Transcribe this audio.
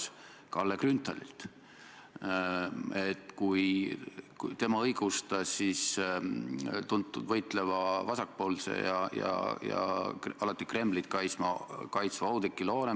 Teie kõrval istuv Martin Helme on teid, kui ma nüüd ei eksi, umbes vabariigi aastapäeva paiku nimetanud, vähemasti sotsiaalmeedia andmetel, Kremli viigileheks – oli vist selline see täpne tsitaat.